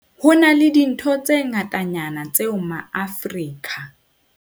Ho na le dintho tse ngatanyana tseo maAforika.